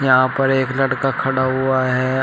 यहां पर एक लड़का खड़ा हुआ है।